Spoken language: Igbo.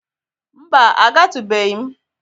Mba, agatụbeghi m.